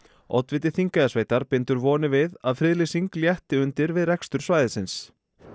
oddviti Þingeyjarsveitar bindur vonir við að friðlýsing létti undir við rekstur svæðisins